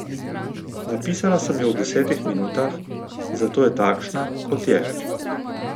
Napisala sem jo v desetih minutah, zato je takšna, kot je.